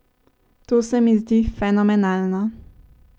To se mi zdi fenomenalno.